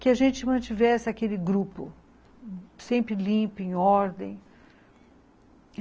que a gente mantivesse aquele grupo, sempre limpo, em ordem.